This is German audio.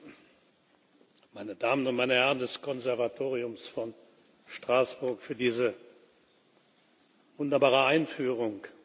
Dank, meine Damen und meine Herren des Konservatoriums von Straßburg, für diese wunderbare Einführung.